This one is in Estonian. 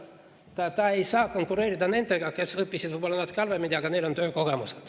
Ta ei saa konkureerida nendega, kes õppisid võib-olla natuke halvemini, aga kellel on töökogemus.